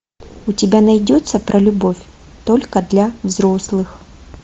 у тебя найдется про любовь только для взрослых